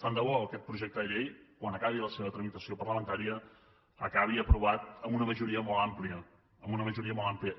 tant de bo aquest projecte de llei quan acabi la seva tramitació parlamentària acabi aprovat amb una majoria molt àmplia amb una majoria molt àmplia